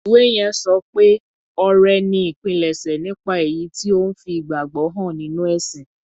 Ìwé yẹn sọ pé ọrẹ ni ìpilẹ̀ṣẹ̀ nípa èyí tí ó ń fi ìgbàgbọ́ hàn nínú ẹ̀sìn.